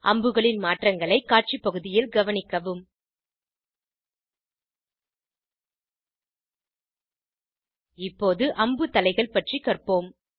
அம்புகளின் மாற்றங்களை காட்சி பகுதியில் கவனிக்கவும் இப்போத அம்பு தலைகள் பற்றி கற்போம்